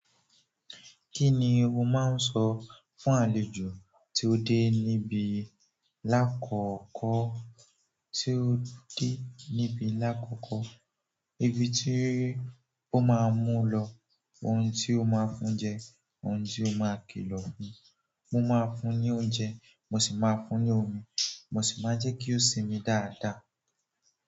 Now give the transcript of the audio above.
Kini o maa so fún àlejò ti o de nibi lakoko, ti o de nibi lakoko. Ibi tí ó máa mú lọ, ohun tí ó máa fún jẹ, ohun tí ó máa kilọ fún. Mo máa fún ní oúnjẹ, mo sì máa fún ní omi, mo sì máa jẹ́ kí ó sinmi dáadáa.